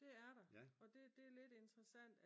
Det er der og det det lidt interessant